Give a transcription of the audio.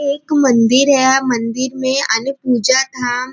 एक मंदिर है। मंदिर में अन्य पूजा धाम--